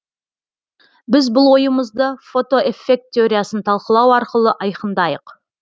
біз бұл ойымызды фотоэффект теориясын талқылау арқылы айқындайық